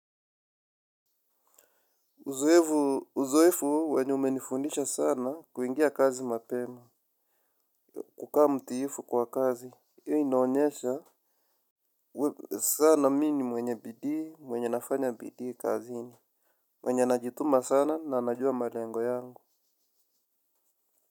Uzoefu uzoefu wenye umenifundisha sana kuingia kazi mapema. Kukaa mtiifu kwa kazi hIyo inaonyesha sana mi ni mwenye bidii mwenye nafanya bidii kazini. Mwenye najituma sana na najua malengo yangu.